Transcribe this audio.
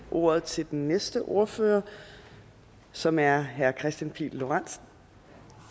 ordet til den næste ordfører som er herre kristian pihl lorentzen